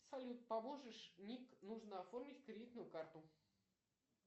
салют поможешь ник нужно оформить кредитную карту